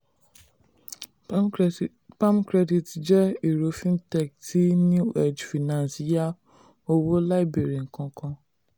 palmcredis palmcredit jẹ́ ẹ̀rọ fintech tí newedge finance yá owó láì bẹ̀rẹ̀ nnkan kankan.